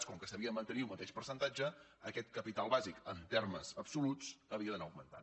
com que se n’havia de mantenir el mateix percentatge aquest capital bàsic en termes absoluts havia d’anar augmentant